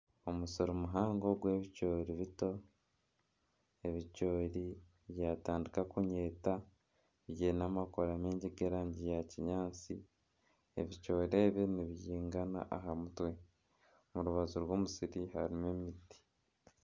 Omusiri muhango gw'ebicoori bito. Ebicoori byatandika kunyeta, byine amakoora mingi g'erangi ya kinyaatsi. Ebicoori ebi nibyingana aha mutwe. Omu rubaju rw'omusiri harimu emiti